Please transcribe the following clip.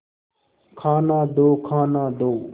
खाना दो खाना दो